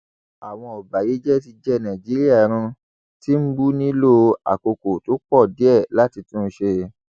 àwọn ọbàyéjẹ ti jẹ nàìjíríà run tìǹbù nílò àkókò tó pọ díẹ láti tún un ṣe